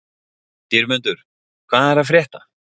Dýrmundur, hvað er að frétta?